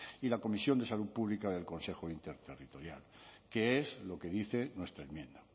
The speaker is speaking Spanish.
y la comisión de salud pública del consejo interterritorial que es lo que dice nuestra enmienda